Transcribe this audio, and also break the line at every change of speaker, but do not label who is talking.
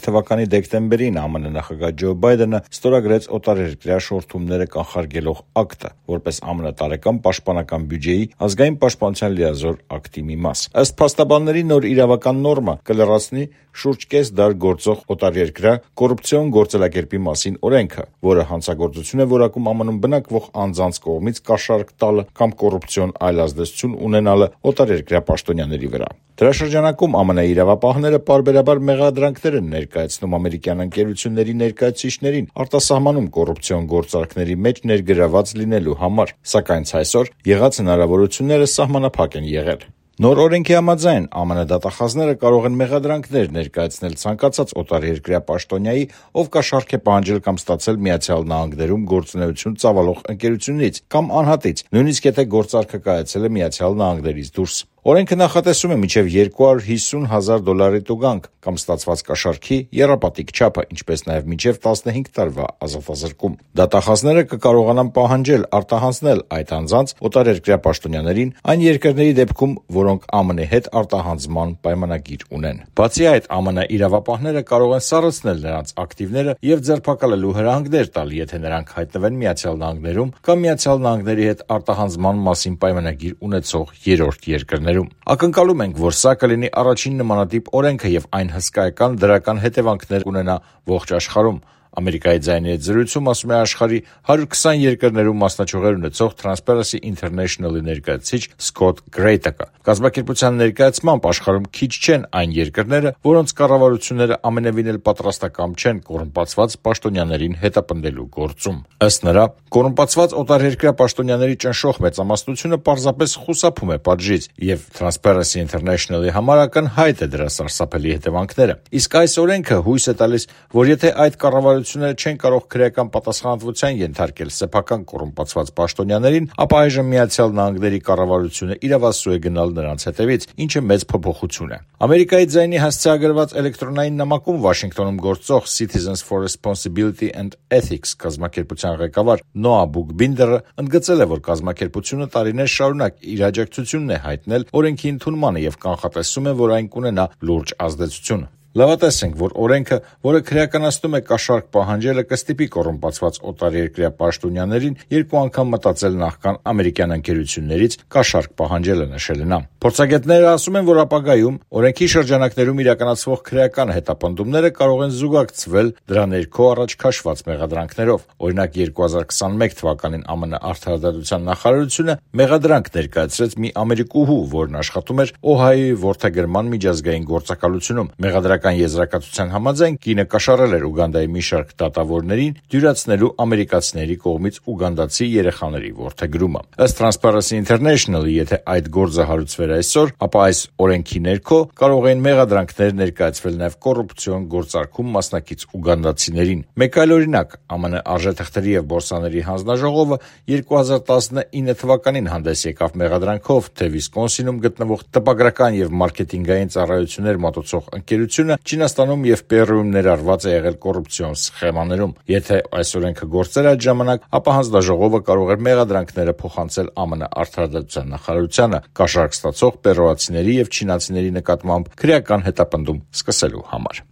թվականի դեկտեմբերին ԱՄՆ նախագահ Ջո Բայդենը ստորագրեց «Օտարերկրյա շորթումները կանխարգելող ակտը» («Foreign Extortion Prevention Act», FEPA)՝ որպես ԱՄՆ տարեկան պաշտպանական բյուջեի՝ «Ազգային պաշտպանությունը լիազորող ակտի» («National Defense Authorization Act», NDAA) մաս: Ըստ փաստաբանների, նոր իրավական նորմը կլրացնի շուրջ կես դար գործող «Օտարերկրյա կոռուպցիոն գործելակերպի մասին» օրենքը («Foreign Corrupt Practices Act», FCPA), որը հանցագործություն է որակում ԱՄՆ-ում բնակվող անձանց կողմից կաշառք տալը կամ կոռուպցիոն այլ ազդեցություն ունենալը օտարերկրյա պաշտոնյաների վրա: FCPA-ի շրջանակում ԱՄՆ իրավապահները պարբերաբար մեղադրանքներ են ներկայացնում ամերիկյան ընկերությունների ներկայացուցիչներին՝ արտասահմանում կոռուպցիոն գործարքների մեջ ներգրավված լինելու համար, սակայն ցայսօր եղած հնարավորությունները սահմանափակ են եղել: Նոր օրենքի համաձայն, ԱՄՆ դատախազները կարող են մեղադրանքներ ներկայացնել ցանկացած օտարերկրյա պաշտոնյայի, ով կաշառք է պահանջել կամ ստացել Միացյալ Նահանգներում գործունեություն ծավալող ընկերությունից կամ անհատից, նույնիսկ եթե գործարքը կայացել է ԱՄՆ-ից դուրս: Օրենքը նախատեսում է մինչև 250 հազար դոլար տուգանք կամ ստացված կաշառքի եռապատիկ չափը, ինչպես նաև մինչև 15 տարվա ազատազրկում։ Դատախազները կկարողանան պահանջել արտահանձնել այդ անձանց՝ օտարերկրյա պաշտոնյաներին, այն երկրների դեպքում, որոնք ԱՄՆ հետ արտահանձնման պայմանագիր ունեն: Բացի այդ, ԱՄՆ իրավապահները կարող են սառեցնել նրանց ակտիվները և նրանց ձերբակալելու հրահանգներ տալ, եթե նրանք հայտնվեն ԱՄՆ-ում կամ Միացյալ Նահանգների հետ արտահանձնման մասին պայմանագիր ունեցող երրորդ երկրում: «Ակնկալում ենք, որ սա կլինի առաջին նմանատիպ օրենքը և այն հսկայական դրական հետևանքները կունենա ողջ աշխարհում»,- «Ամերիկայի ձայնի» հետ զրույցում ասում է աշխարհի 120 երկրներում մասնաճյուղեր ունեցող «Թրանսփարենսի ինթերնեշնլի» ներկայացուցիչ Սքոթ Գրեյտակը: Կազմակերպության ներկայացմամբ, աշխարհում քիչ չեն այն երկրները, որոնց կառավարությունները ամենևին էլ պատրաստակամ չեմ կոռումպացված պաշտոնյաներին հետապնդելու գործում: ճնշող մեծամասնությունը պարզապես խուսափում է պատժից, և մեզ համար ակնհայտ են դրա սարսափելի հետևանքները։ Իսկ հույս է տալիս, որ եթե չեն կարող քրեական պատասխանատվության ենթարկել սեփական կոռումպացված պաշտոնյաներին, ապա այժմ Միացյալ Նահանգների կառավարությունն իրավասու է գնալ նրանց հետևից, ինչը մեծ փոփոխություն է»,- նշում է Գրեյտակը: «Ամերիկայի ձայնին» հասցեագրված էլեկտրոնային նամակում Վաշինգտոնում գործող «Citizens for Responsibility and Ethics» կազմակերպության ղեկավար Նոա Բուքբինդերն ընդգծել է, որ կազմակերպությունը տարիներ շարունակ իր աջակցությունն է հայտնել օրենքի ընդունմանը, և կանխատեսում է, որ այն կունենա լուրջ ազդեցություն․ «Լավատես ենք, որ FEPA-ն, որը քրեականացնում է կաշառք պահանջելը, կստիպի կոռումպացված օտարերկրյա պաշտոնյաներին երկու անգամ մտածել՝ նախքան ամերիկյան ընկերություններից կաշառք պահանջելը»: Փորձագետներն ասում են, որ ապագայում՝ FCPA-ի շրջանակներում իրականացվող քրեական հետապնդումները կարող են զուգակցվել FEPA-ի ներքո առաջ քաշված մեղադրանքներով: Օրինակ, 2021 թվականին ԱՄՆ Արդարադատության նախարարությունը մեղադրանք ներկայացրեց մի ամերիկուհու, որն աշխատում էր Օհայոյի որդեգրման միջազգային գործակալությունում։ Մեղադրական եզրակացության համաձայն, կինը կաշառել էր Ուգանդայի մի շարք պաշտոնյաների, դատավորների՝ դյուրացնելու ամերիկացիների կողմից ուգանդացի երեխաների որդեգրումը: Ըստ «Թրանսփարենսի ինթերնեշնլի», եթե այդ գործը հարուցվեր այսօր, ապա FEPA-ի ներքո կարող էին մեղադրանքներ ներկայացվել նաև կոռուպցիոն գործարքում մասնակից ուգանդացիներին: Մեկ այլ օրինակ՝ ԱՄՆ Արժեթղթերի և բորսաների հանձնաժողովը 2019-ին հանդես եկավ մեղադրանքով, թե Վիսկոնսինում գտնվող տպագրական ու մարքեթինգային ծառայություններ մատուցող ընկերությունը Չինաստանում և Պերուում ներառված է եղել կոռուպցիոն սխեմաներում: Եթե FEPA-ն գործեր այդ ժամանակ, ապա հանձնաժողովը կարող էր մեղադրանքները փոխանցել ԱՄՆ Արդարադատության նախարարությանը՝ կաշառք ստացող պերուացիների և չինացիների նկատմամբ քրեական հետապնդում սկսելու համար: